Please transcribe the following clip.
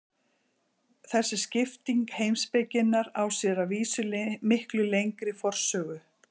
Þessi skipting heimspekinnar á sér að vísu miklu lengri forsögu.